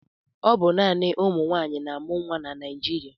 Ọ bụ naanị ụmụnwaanyị na-amụ nwa na Naịjịrịa.